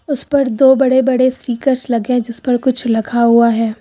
उस पर दो बड़े बड़े स्टिकर्स लगे हैं जिस पर कुछ लिखा हुआ है।